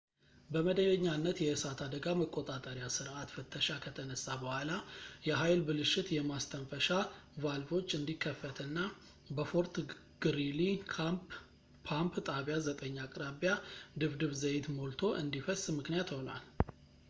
በመደበኛነት የእሳት አደጋ መቆጣጠሪያ ሥርዓት ፍተሻ ከተነሳ በኋላ የኃይል ብልሽት የማስተንፈሻ ቫልቮች እንዲከፈትና በፎርት ግሪሊ ፓምፕ ጣቢያ 9 አቅራቢያ ድፍድፍ ዘይት ሞልቶ እንዲፈስ ምክንያት ሆኗል